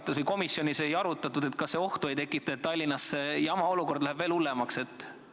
Kas komisjonis ei arutatud, kas see ei tekita ohtu, kui Tallinnas see jama olukord veel hullemaks läheb?